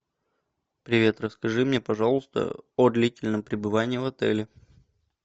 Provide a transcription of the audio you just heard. привет расскажи мне пожалуйста о длительном пребывании в отеле